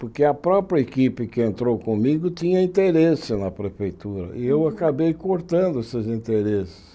Porque a própria equipe que entrou comigo tinha interesse na prefeitura, e eu acabei cortando esses interesses.